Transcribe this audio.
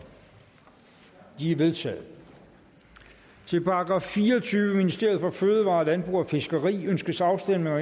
de er vedtaget til § fireogtyvende ministeriet for fødevarer landbrug og fiskeri ønskes afstemning